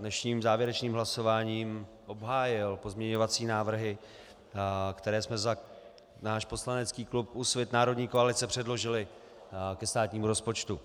dnešním závěrečným hlasováním obhájil pozměňovací návrhy, které jsme za náš poslanecký klub Úsvit - národní koalice předložili ke státnímu rozpočtu.